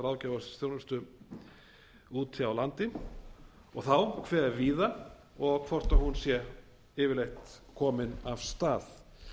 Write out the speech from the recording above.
ráðgjafarþjónustu úti á landi og þá hve víða og hvort hún sé yfirleitt komin af stað